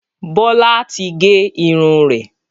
Bọlá tí gé irun rẹ̀